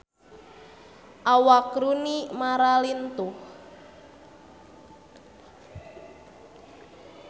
Awak Rooney Mara lintuh